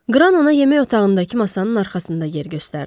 Qran ona yemək otağındakı masanın arxasında yer göstərdi.